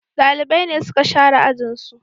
Dalibai ne suka share ajin su